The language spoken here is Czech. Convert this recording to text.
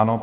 Ano.